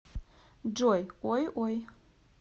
джой ой ой